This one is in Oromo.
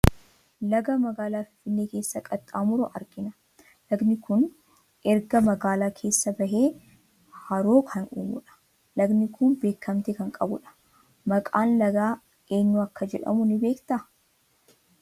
Laga magaalaa Finfinnee keessa qaxxaamuru argina. Lagdi kun erga magaalaa kana keessaa bahee Haroo kan uumu dha. Lagdi kun beekamtii kan qabu dha. Maqaan laga eenyu akka jedhamu ni beektaa?